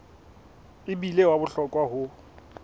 e bile wa bohlokwa ho